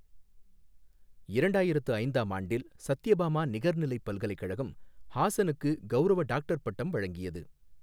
இரண்டாயிரத்து ஐந்தாம் ஆண்டில் சத்யபாமா நிகர்நிலைப் பல்கலைக்கழகம் ஹாசனுக்கு கவுரவ டாக்டர் பட்டம் வழங்கியது.